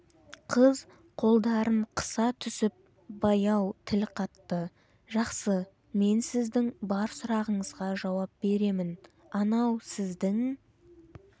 қыз қолдарын қыса түсіп баяу тіл қатты жақсы мен сіздің бар сұрағыңызға жауап беремін анау сіздің